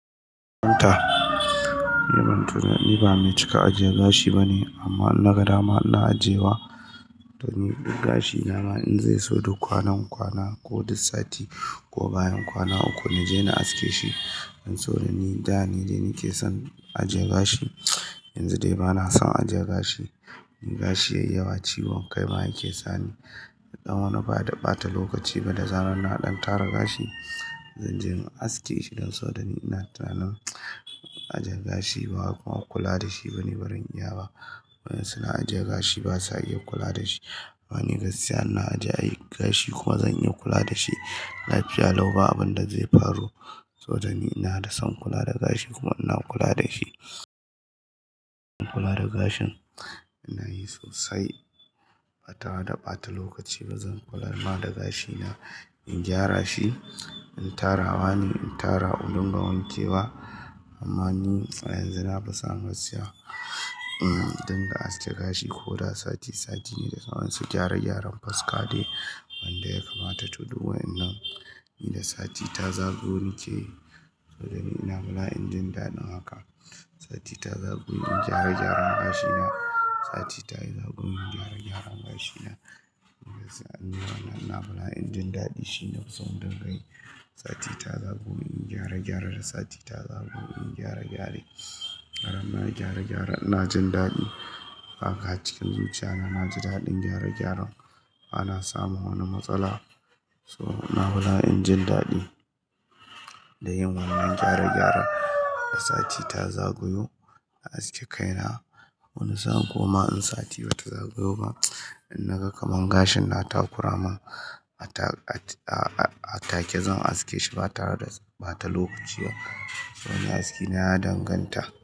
Ni ba mai cika ajiye gashi ba ne, amma na ga dama na ajiye wa ɗani gashi. Naman in zai zo duk kwana kwana ko duk sati ko bayan kwana uku na je na aske shi. Don saboda ni da ni de nike son ajiye gashi. Yanzu dai ba na son ajiye gashi. In gashi yayi yawa ciwon kai ma ya ke sani. Ɗan wani bata ɓata lokaci ba da zan rina ɗan tara gashi. Zan je in aske shi don so da ni ina tunanin ajiye gashi ba kuma kula da shi ba ne barin iya ba. Wadan suna ajiye gashi basa iya kula da shi. Ba ni gaskiya ina ajiye gashi kuma zan iya kula da shi. Lafiya lau ba abin da zai faru. Saboda ni ina da son kula da gashi kuma ina kula da shi. Ina kula da gashin ina yi sosai ba tare da ɓata lokaci ba. Zan kula ma da gashina in gyara shi, in tara. Hani in tara wurin gawanke wa. Amma ni a yanzu na fi son gaskiya, in dinga aske gashi ko da sati sati ne da zan so gyara gyaran faska dai wanda ya kamata. To duk wannan inda sati ta zagaye wanke. Saboda ni ina bala injin ɗaɗin haka. Sati ta zagayo in gyare gyaran gashina. Sati ta zagayo in gyare gyaran gashina. Gaskiya an yi mana. Ina hula injin ɗaɗi shine sabon dinga yi. Sati ta zagayo in gyare gyara da sati ta zagayo in gyare gyare. Har na gyare gyare na jin daɗi. Haka a cikin zuciya na, na ji daɗin gyare gyare. Ba na samun wani matsala. So ina bala injin daɗi da yin wannan gyare gyare da sati ta zagayo a aske kaina. Wani sa'an kuma in sati bata zagayo ba, in na ga kaman gashin na ta kuramin a ta-a ta-a take, zan aske shi ba tare da ɓata lokaci ba. To ni aske na, na danganta.